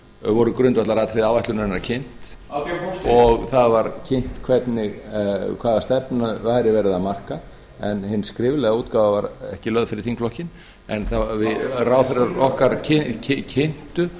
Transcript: voru grundvallaratriði áætlunarinnar kynnt og það var kynnt hvaða stefnu væri verið að marka en hin skriflega útgáfa var ekki lögð fyrir þingflokkinn en ráðherrar okkar kynntu